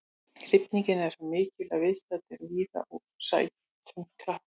Hrifningin er svo mikil að viðstaddir rísa úr sætum og klappa.